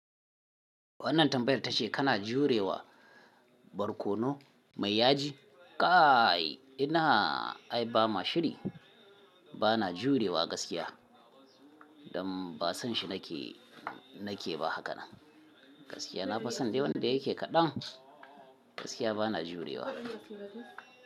Wannan tambayar ta ce kana jurewa barkono mai yaji? Kai ina, ai ba ma shiri bana jurewa gaskiya. Don ba san shi nake nake ba haka gaskiya. Na fi san de wanda yake kaɗan gaskiya bana jurewa.